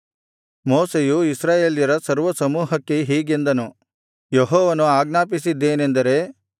ಮೋಶೆಯು ಇಸ್ರಾಯೇಲ್ಯರ ಸರ್ವಸಮೂಹಕ್ಕೆ ಹೀಗೆಂದನು ಯೆಹೋವನು ಆಜ್ಞಾಪಿಸಿದ್ದೇನೆಂದರೆ